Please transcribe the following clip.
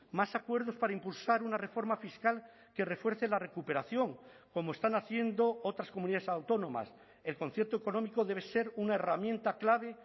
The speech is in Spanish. más acuerdos para impulsar una reforma fiscal que refuerce la recuperación como están haciendo otras comunidades autónomas el concierto económico debe ser una herramienta clave